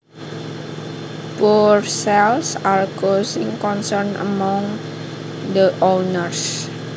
Poor sales are causing concern among the owners